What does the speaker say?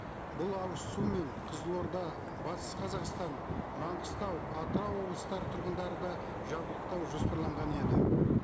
бұл ауызсумен қызылорда батыс қазақстан маңғыстау атырау облыстары тұрғындары да жабдықтауы жоспарланған еді